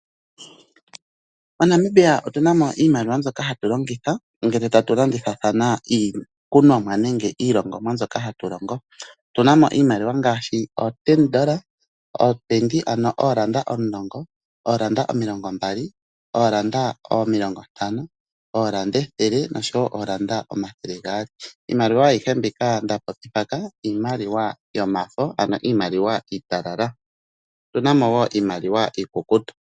MoNamibia otuna mo iimaliwa mbyoka hatu longitha uuna tatu landithathana iikunomwa nenge iilongomwa mbyoka hatu longo. Otuna mo iimaliwa ngaashi oolanda omulongo, oolanda omilongo mbali, oolanda omilongo ntano, oolanda ethele, noolanda omathele gaali. Ano iimaliwa ayihe mbika nda popi mpaka iimaliwa yomafo ano iimaliwa iitalala. Otuna mo wo iimaliwa iikukutu.